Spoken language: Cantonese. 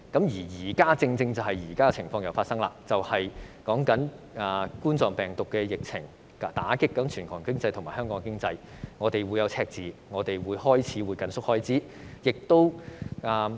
現在再一次發生難以預計的情況，冠狀病毒疫情打擊全球和香港經濟，香港將會出現赤字，需要緊縮開支。